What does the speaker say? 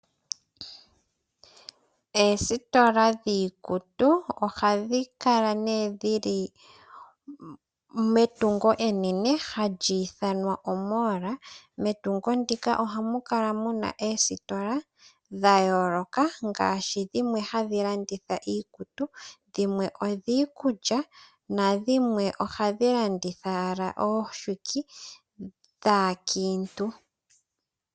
Oositola dhiikutu ohadhi kala nee dhi li metungo enene hali ithanwa oomola. Metungo muka oha mu kala mu na oositola dha yooloka ngaashi dhimwe hadhi landitha iikutu, dhimwe odhiikulya na dhimwe ohadhi landitha owala omafufu gaakiintu.